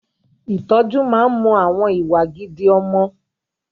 Ìtọ́jú máa ń mọ àwọn ìwà gidi ọmọ